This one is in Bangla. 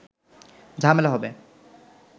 ঝামেলা হবে